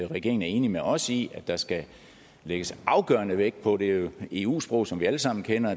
regeringen er enig med os i at der skal lægges afgørende vægt på det er jo eu sprog som vi alle sammen kender